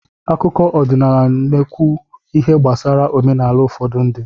Akụkọ ọdịnala n'ekwu ihe gbasara omenala ufodu ndi